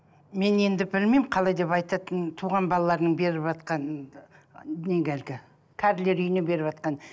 мен енді білмеймін қалай деп айтатынын туған баларының беріватқан неге әлгі кәрілер үйне беріватқан